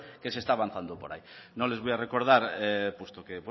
que se está avanzando por ahí no les voy a recordar puesto que